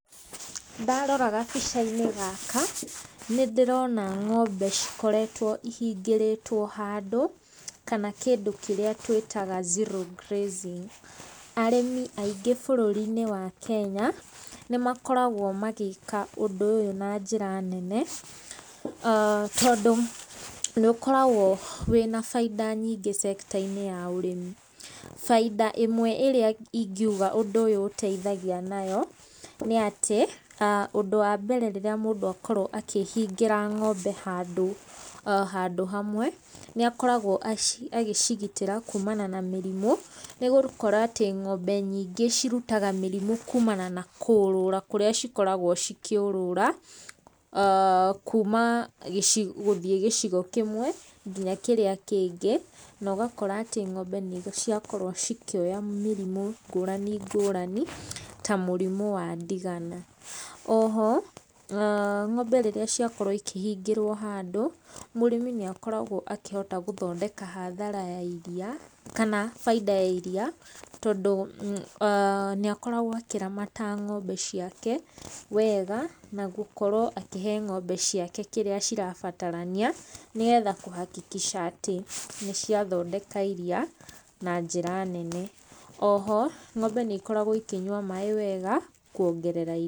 Ndarora gabica-inĩ gaka nĩ ndĩrona ng'ombe cikoretwo ihingĩrĩtwo handũ kana kĩndũ kĩrĩa twĩtaga zero grazing. Arĩmi aingi bũrũri-inĩ wa Kenya nĩ makoragwo magĩka ũndũ ũyũ na njĩra nene tondũ nĩ ũkoragwo wĩna baita nyingĩ sector inĩ ya ũrĩmi. Baita ĩmwe ĩrĩa ingiuga ũndũ ũyũ ũteithagia nayo nĩ atĩ, ũndũ wa mbere rĩrĩa mũndũ akorwo akĩhingĩra ng'ombe handũ hamwe, nĩ akoragwo akĩgitĩra ng'ombe kuma mĩrimũ, nĩ gũkora atĩ ng'ombe nyingĩ cirutaga mĩrimũ kuumana na kũũrũra kurĩa cikoragwo cikĩũrũra kuma gũthiĩ gicigo kĩmwe nginya kĩrĩa kĩngĩ. Na ũgakora atĩ ng'ombe nĩ ciakorwo cikĩoya mĩrimũ ngũrani ngũrani ta mũrimũ wa ndigana. Oho ng'ombe rĩrĩa ciakorwo ikĩhingĩrwo handũ, mũrĩmi nĩ akoragwo akĩhota gũthondeka hathara ya iria kana baita ya iria. Tondũ nĩ akoragwo akĩramata ng'ombe ciake wega na gũkorwo akĩhe ng'ombe ciake kĩrĩa cirabatarania nĩgetha kuhakikisha atĩ nĩ ciathondeka iria na njĩra nene. Oho ng'ombe nĩ ikoragwo ikĩnyua maaĩ wega kuongerera i...